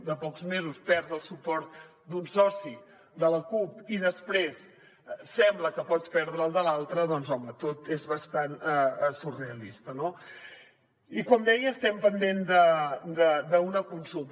de pocs mesos perds el suport d’un soci de la cup i després sembla que pots perdre el de l’altre doncs home tot és bastant surrealista no i com deia estem pendents d’una consulta